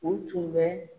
U tun bɛ